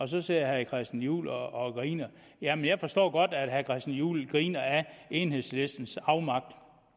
så sidder herre christian juhl og griner jamen jeg forstår godt at herre christian juhl griner af enhedslistens afmagt